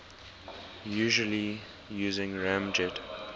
usually using ramjet